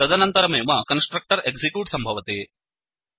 तदनन्तरमेव constructor execute सम्भवति